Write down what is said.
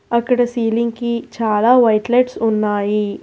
అక్కడ సీలింగ్ కి చాలా వైట్ లైట్స్ ఉన్నాయి.